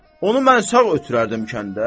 Onu mən sağ ötürərdim kəndə.